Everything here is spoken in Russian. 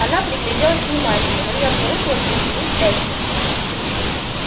она пригляделась внимательно но не обнаружила среди них эшли